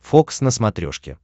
фокс на смотрешке